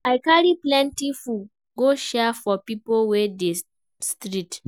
I carry plenty food go share for pipo wey dey street.